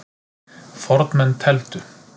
Fornmenn tefldu.